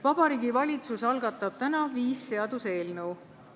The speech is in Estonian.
Vabariigi Valitsus algatab täna viis seaduseelnõu.